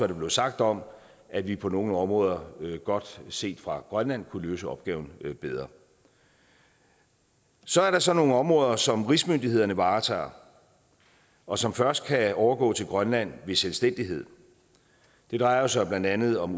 der blev sagt om at vi på nogle områder godt set fra grønlands side kunne løse opgaven bedre så er der så nogle områder som rigsmyndighederne varetager og som først kan overgå til grønland ved selvstændighed det drejer sig blandt andet om